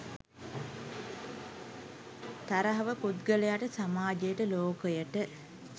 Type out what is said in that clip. තරහව පුද්ගලයාට, සමාජයට, ලෝකයට